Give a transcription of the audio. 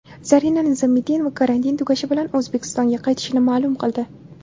Zarina Nizomiddinova karantin tugashi bilan O‘zbekistonga qaytishini ma’lum qildi.